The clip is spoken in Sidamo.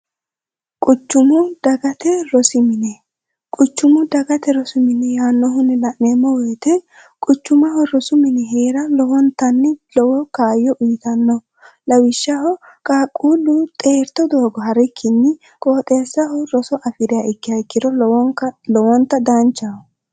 quchumu dagate rosimine quchumu dagate rosimine yaannohunni la'neemmo woyite quchumaho rosu minihee'ra lowontanni lowo kaayyo uyitanno lawishshaho qaaqquullu xeerto doogo harrikkinni qooxeessaho roso afiria ikkihayikkiro wlowonta daanchaho